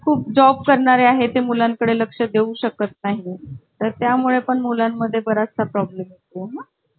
कारण उद्या कसं रामा कुंभारे बद्दल माहिती आहे का तुला काही अं